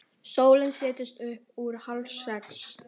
Sólin settist upp úr hálfsex.